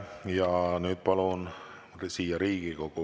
Ma vastasin, et õnneks elan riigis, kus mul on lubatud nimetada asju õigete sõnadega.